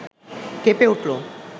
কেঁপে উঠল